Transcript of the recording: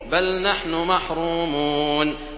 بَلْ نَحْنُ مَحْرُومُونَ